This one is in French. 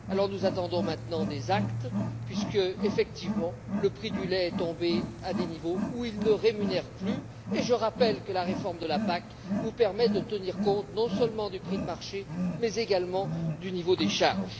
Alors, nous attendons maintenant des actes puisque, effectivement, le prix du lait est tombé à des niveaux où il ne rémunère plus. Et je rappelle que la réforme de la PAC vous permet de tenir compte non seulement du prix de marché mais également du niveau des charges.